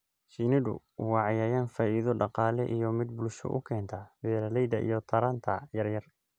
Shinnidu waa cayayaan faa'iido dhaqaale iyo mid bulsho u keenta beeralayda iyo taranta yar yar.